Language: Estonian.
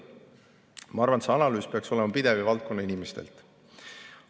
Ma arvan, et see analüüs peaks olema pidev ja tulema valdkonna inimestelt.